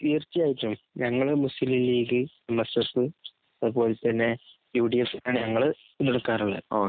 ടീരച്ചയായിട്ടും ഞങ്ങൾ Muslim League ,M. S. F ,U T F ഞങ്ങൾ പിന്തുണക്കാറുളെ